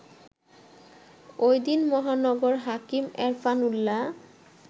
ওইদিন মহানগর হাকিম এরফান উল্লা